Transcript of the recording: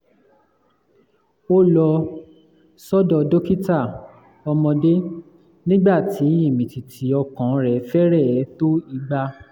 ó lọ sọ́dọ̀ dókítà ọmọdé nígbà tí ìmìtìtì ọkàn rẹ̀ fẹ́rẹ̀ẹ́ tó igba